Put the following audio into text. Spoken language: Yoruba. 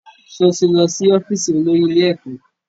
Sọ ti lọ sí ọ́fíìsì olórí ilé ẹ̀kọ́?